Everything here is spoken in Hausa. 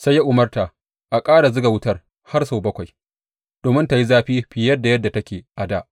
Sai ya umarta a ƙara zuga wutar har sau bakwai domin tă yi zafi fiye da yadda take a dā.